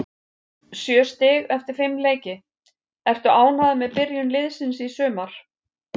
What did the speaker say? Sjö stig eftir fimm leiki, ertu ánægður með byrjun liðsins í sumar?